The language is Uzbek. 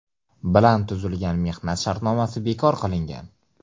bilan tuzilgan mehnat shartnomasi bekor qilingan.